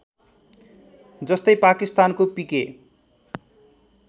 जस्तै पाकिस्तानको पिके